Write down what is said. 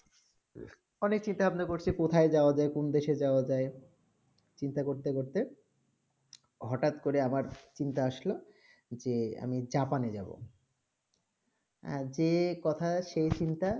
অনেক চিন্তা ভাবনা করতেছি কোথায় যাওবা যায় কোন দেশে যাৰ যায় চিন্তা করতে করতে হ্যাক করে আবার চিন্তা আসলে যে আমি জাপানে যাবো যেই কথা সেই চিন্তা